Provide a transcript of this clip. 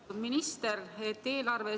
Härra minister!